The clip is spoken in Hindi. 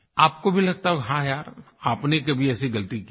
आपको भी लगता होगा हाँ यार आपने कभी ऐसी गलती की है